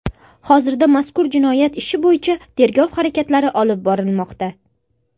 Hozirda mazkur jinoyat ishi bo‘yicha tergov harakatlari olib borilmoqda.